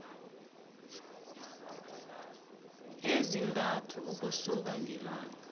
ezintathu ukusuka ngelanga